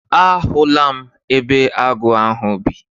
A hụla m ebe agụ ahụ bi.